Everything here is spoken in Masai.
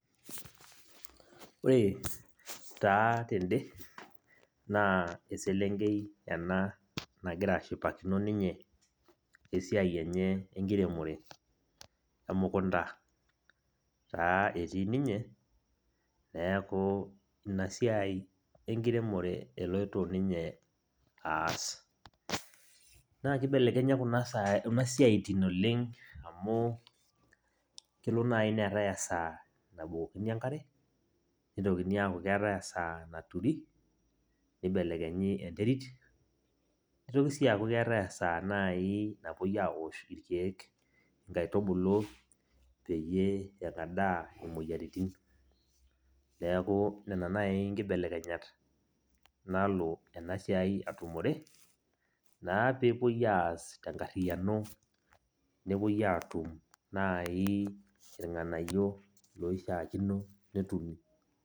Ore taa tene, naa eselenkei ena nagira ashipakino ninye esiai enye enkiremore. Emukunda taa etii ninye, neeku inasiai enkiremore eloito ninye aas. Nakibelekenya kuna siaitin oleng' amu kelo nai neetae esaa nabukokini enkare, nitokini aku keetae esaa naturi, nibelekenyi enterit, nitoki si aaku keetae esaa nai napoi awosh irkeek inkaitubulu peyie eng'adaa imoyiaritin. Neeku nena nai nkibelekenyat nalo enasiai atumore, naa pepoi aas tenkarriyiano, nepoi atum nai irng'anayio loishaakino netumi.